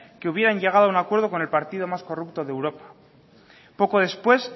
que hubieran llegado a un acuerdo con el partido más corrupto de europa poco después